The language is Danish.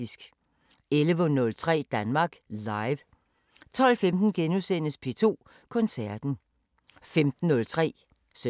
14:03: Liga 21:03: P3 med Anna Lin og Camilla Boraghi